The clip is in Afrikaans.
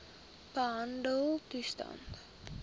behandeltoestande